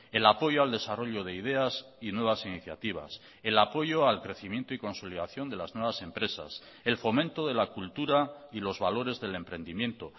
el apoyo al desarrollo de ideas y nuevas iniciativas el apoyo al crecimiento y consolidación de las nuevas empresas el fomento de la cultura y los valores del emprendimiento